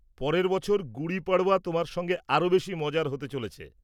পরের বছর গুড়ি পাড়ওয়া তোমার সঙ্গে আরও বেশি মজার হতে চলেছে।